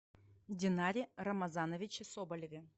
динаре рамазановиче соболеве